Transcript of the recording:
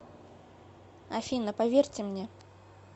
афина поверьте мне